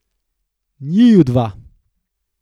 Njiju dva!